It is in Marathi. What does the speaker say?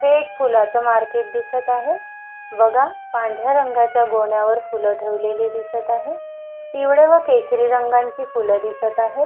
हे एक फुलाच मार्केट दिसत आहे बघा पांढऱ्या रंगाच्या गोण्यावर फूल ठेवलेली दिसत आहे पिवळे व केशरी रंगाची फुले दिसत आहे.